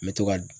N bɛ to ka